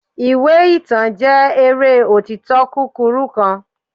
iwe itan jẹ eré otito kukuru kan